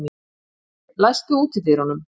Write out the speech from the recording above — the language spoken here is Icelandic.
Ernir, læstu útidyrunum.